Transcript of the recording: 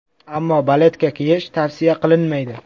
Ammo baletka kiyish tavsiya qilinmaydi.